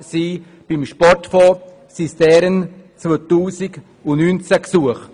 Beim Sportfonds waren es deren 2019.